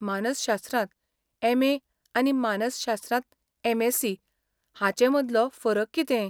मानसशास्त्रांत एम.ए. आनी मानसशास्त्रांत एम.एस.सी. हाचें मदलो फरक कितें?